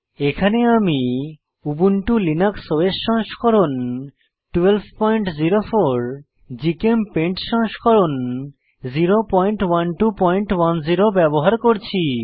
এখানে আমি Ubuntu Linux OS সংস্করণ 1204 জিচেমপেইন্ট সংস্করণ 01210 ব্যবহার করছি